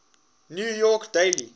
new york daily